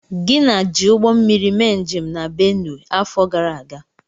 Gina ji Ụgbọmmiri mee njem na Benue afọ gara aga.